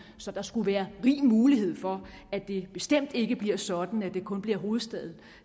så der skulle være rig mulighed for at det bestemt ikke bliver sådan at det kun bliver hovedstaden